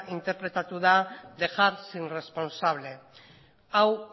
interpretatu da dejar sin responsable hau